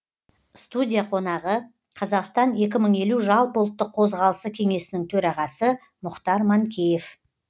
студия қонағы қазақстан екі мың елу жалпыұлттық қозғалысы кеңесінің төрағасы мұхтар манкеев